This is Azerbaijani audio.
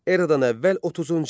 Eradan əvvəl 30-cu il.